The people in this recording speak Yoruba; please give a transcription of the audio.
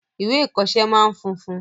Ìwé ìkoọsẹ́ máa n funfun